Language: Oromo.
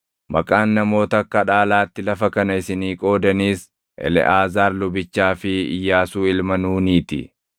“Maqaan namoota akka dhaalaatti lafa kana isinii qoodaniis Eleʼaazaar lubichaa fi Iyyaasuu ilma Nuunii ti.